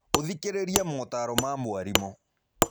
ũthikĩrĩrie motaaro ma mwarimũ.